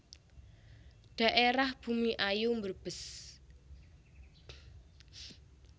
Dhaérah Bumiayu Brebes